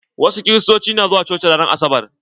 Wasu Kiristoci na zuwa coci ran asabar.